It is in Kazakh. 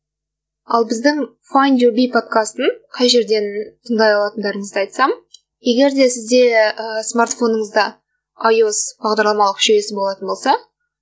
ал біздің файнд ю би подкастын қай жерден тыңдай алатындарыңызды айтсам егер де сізде ііі смартфоныңызда айос бағдарламалық жүйесі болатын болса